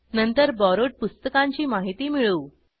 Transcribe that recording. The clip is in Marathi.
नंतर बोरोवेड पुस्तकांची माहिती मिळवू